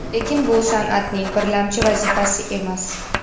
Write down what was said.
Lekin bu san’atning birlamchi vazifasi emas.